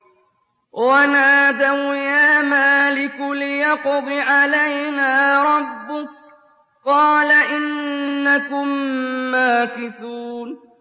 وَنَادَوْا يَا مَالِكُ لِيَقْضِ عَلَيْنَا رَبُّكَ ۖ قَالَ إِنَّكُم مَّاكِثُونَ